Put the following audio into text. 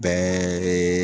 Bɛɛ